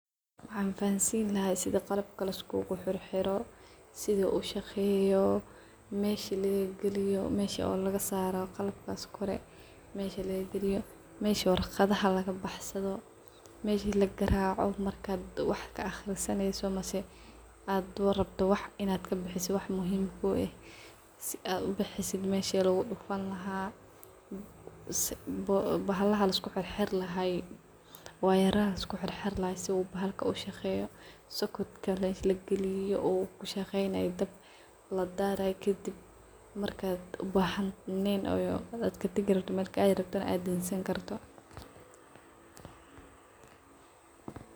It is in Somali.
Maxan fahansin lahay sida qalabka liskuguxirxiro, sida ushaqeyo, mesha lagagaliyo meshi warqadaha lagabaxsado, meshi lagaraco marki wax kaaqrisaneyso mise wax muhim kueh , meshi waxas dan lagamamulo aa lobahanyahay sifican in ad ubartdi qofka waxaa kale losameya dadal badhan soketka mesha lagaliyo wayaraha liskuxixirlahay iyo waxyalas dhan filoyinka in sifican lorakibo ba larawah sidas darted wax walbo weyhagagayanmarki ad katagi rabto mel kaadi rabto aa dansan karto.